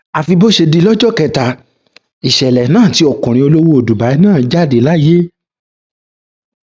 àfi bó ṣe di lọjọ kẹta ìṣẹlẹ náà tí ọkùnrin olówó dubai náà jáde láyé